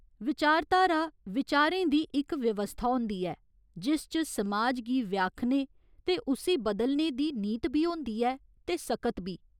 विचारधारा, विचारें दी इक व्यवस्था होंदी ऐ, जिस च समाज गी व्याखने ते उस्सी बदलने दी नीत बी होंदी ऐ ते सकत बी।